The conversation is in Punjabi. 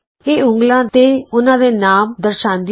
ਇਹ ਉਂਗਲਾਂ ਤੇ ਉਹਨਾਂ ਦੇ ਨਾਮ ਦਰਸਾਂਦੀ ਹੈ